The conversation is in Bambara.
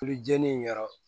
Tulu jeni in yɔrɔ